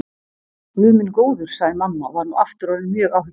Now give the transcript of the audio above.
Guð minn góður, sagði mamma og var nú aftur orðin mjög áhyggjufull.